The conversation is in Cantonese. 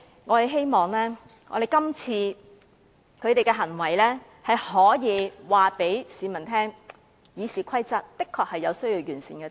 我們希望他們今次的行為可以告訴市民，《議事規則》確有需要完善之處。